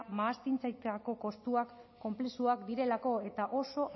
mahastizaintzako kostuak konplexuak direlako eta oso